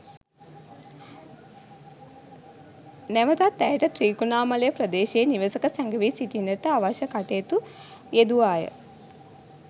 නැවතත් ඇයට ත්‍රිකුණාමලය ප්‍රදේශයේ නිවෙසක සැඟවී සිටින්නට අවශ්‍ය කටයුතු යෙදුවා ය.